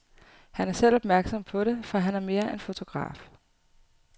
Han er selv opmærksom på det, for han er mere end fotograf.